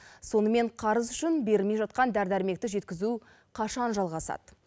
сонымен қарыз үшін берілмей жатқан дәрі дәрмекті жеткізу қашан жалғасады